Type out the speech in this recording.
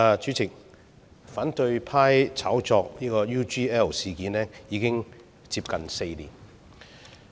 主席，反對派炒作 UGL 事件已經接近4年。